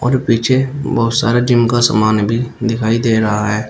और पीछे बहुत सारे जिम का सामान भी दिखाई दे रहा है।